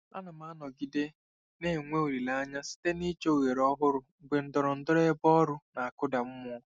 Ana m anọgide na-enwe olileanya site n'ịchọ ohere ọhụrụ mgbe ndọrọndọrọ ebe ọrụ na-akụda mmụọ.